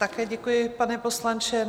Také děkuji, pane poslanče.